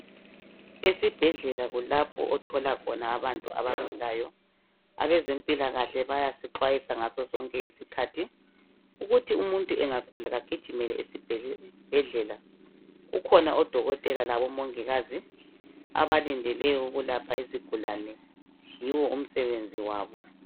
Esibhedlela kulapho othola khona abantu abagulayo abezempilakahle bayasixhwayisa ngaso sonke isikhathi ukuthi umuntu engagula kagijimele esibhedlela kukhona odokotela labomongikazi abalindele ukulapha izigulane yiwo umsebenzi wabo.